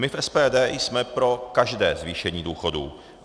My v SPD jsme pro každé zvýšení důchodu.